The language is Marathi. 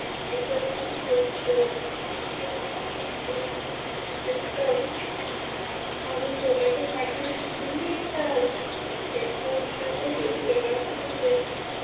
तर माणूस जगाचा पाठीवर कुठही एकटा राहू शकतो. एकट असण्यातही एक वेगळाच आनंद असतो.